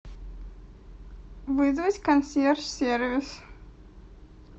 вызвать консьерж сервис